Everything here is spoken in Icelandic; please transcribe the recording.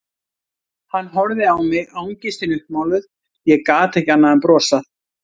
Hann horfði á mig, angistin uppmáluð, ég gat ekki annað en brosað.